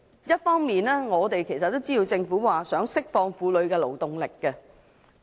一方面，我們也知道，政府想釋放婦女的勞動力。